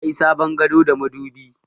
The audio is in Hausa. Na yi sabon gado da madubi